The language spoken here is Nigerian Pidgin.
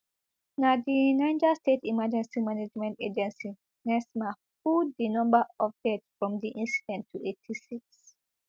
na di niger state emergency management agency nsema put di number of deaths from di incident to eighty-six